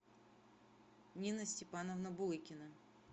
нина степановна булыкина